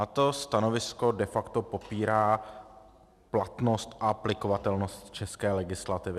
A to stanovisko de facto popírá platnost a aplikovatelnost české legislativy.